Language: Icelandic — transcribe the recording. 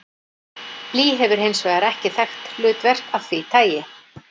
Blý hefur hins vegar ekki þekkt hlutverk af því tagi.